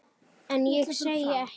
En ég segi ekkert.